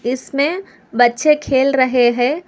इसमें बच्चे खेल रहे हैं।